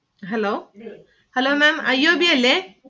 Hello hello Ma'm IOB അല്ലെ?